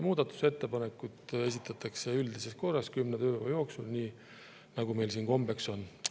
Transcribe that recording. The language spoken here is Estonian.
Muudatusettepanekud esitatakse üldises korras, kümne tööpäeva jooksul, nii nagu meil siin kombeks on.